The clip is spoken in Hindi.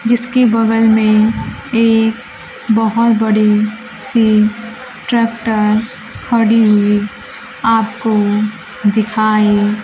जिसके बगल में एक बहुत बड़ी सी ट्रैक्टर खड़ी हुई आपको दिखाई--